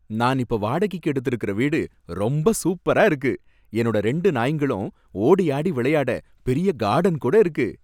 நான் இப்ப வாடகைக்கு எடுத்துருக்கற வீடு ரொம்ப சூப்பரா இருக்கு, என்னோட ரெண்டு நாய்ங்களும் ஓடியாடி விளையாட பெரிய கார்டன் கூட இருக்கு.